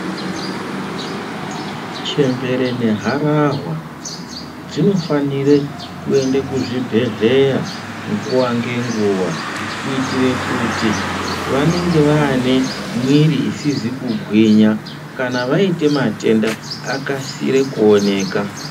Chembere negarahwa dzinofanire kuende kuzvibhedhlera nguwa ngenguwa kuitire kuti vanenge vane mwiri isizi kugwinya kana vaite matenda akasire kuoneka.